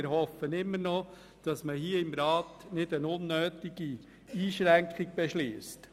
Wir hoffen immer noch, dass der Rat keine unnötige Einschränkung beschliesst.